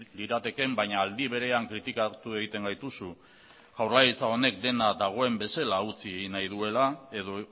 liratekeen baina aldi berean kritikatu egiten gaituzu jaurlaritza honek dena dagoen bezala utzi egin nahi duela edo